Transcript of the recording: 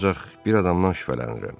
Ancaq bir adamdan şübhələnirəm.